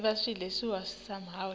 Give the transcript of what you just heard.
sicelo ehhovisi lakho